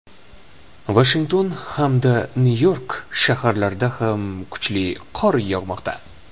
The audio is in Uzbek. Vashington hamda Nyu-York shaharlarida ham kuchli qor yog‘moqda.